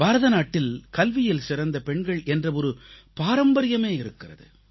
பாரத நாட்டில் கல்வியில் சிறந்த பெண்கள் என்ற ஒரு பாரம்பரியமே இருக்கிறது